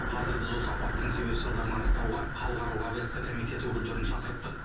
қазір біз осы апаттың себеп салдарын анықтауға халықаралық авиация комитеті өкілдерін шақырттық